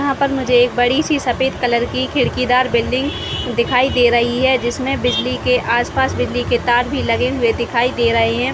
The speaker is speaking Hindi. यहाँ पर मुझे एक बड़ी सी सफ़ेद कलर की खिड़कीदार बिल्डिंग दिखाई दे रही हैं जिसमे बिजली के आसपास बिजली के तार लगे हुए दिखाई दे रहे है।